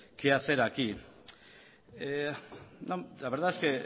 que hacer aquí la verdad es que